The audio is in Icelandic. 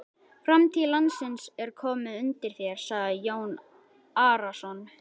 Framtíð landsins er komin undir þér, sagði Jón Arason.